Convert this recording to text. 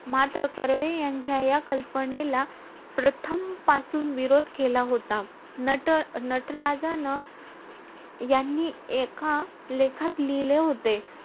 मात्र कर्वे यांच्या या कल्पनेला प्रथम पासून विरोध केला होता. नट~ नटराजानं यांनी एका लेखात लिहिले होते.